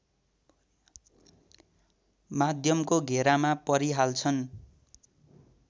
माध्यमको घेरामा परिहाल्छन्